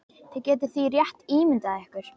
Þið getið því rétt ímyndað ykkur.